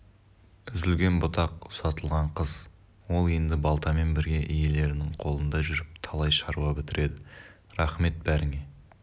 үзілген бұтақ ұзатылған қыз ол енді балтамен бірге иелерінің қолында жүріп талай шаруа бітіреді рақмет бәріңе